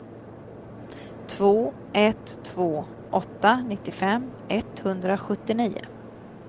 två ett två åtta nittiofem etthundrasjuttionio